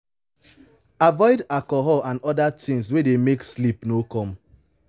avoid alcohol and oda things wey dey make sleep no come